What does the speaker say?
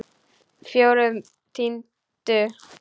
Fjórum tíundu?